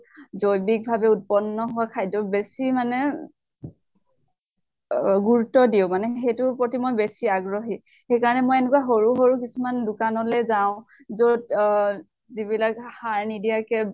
জৈৱিক ভাবে উৎপন্ন হোৱা খাদ্য় বেছি মানে অহ গুৰুত্ব দিওঁ। মানে সেইটোৰ প্ৰতি মই বেছি আগ্ৰহি। সেই কাৰণে মই এনেকুৱা সৰু সৰু কিছুমান দোকানলে যাওঁ, যʼত অহ যিবিলাক সাৰ নিদিয়াকে